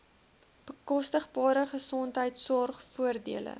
bekostigbare gesondheidsorg voordele